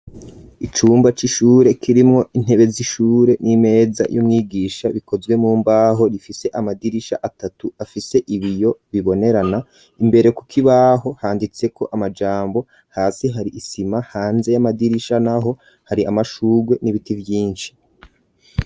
Icumba c'ishure kirimo intebe z'ishure n'imeza y'umwigisha bikozwe mu mbaho rifise amadirisha atatu afise ibiyo bibonerana .imbere kukibaho handitse ko amajambo hasi hari isima hanze y'amadirisha naho hari amashugwe n'ibiti vyinshi .